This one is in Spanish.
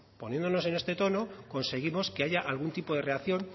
poniéndonos en este tono conseguimos que haya algún tipo de reacción